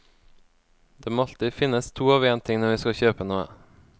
Det må alltid finnes to av en ting når vi skal kjøpe noe.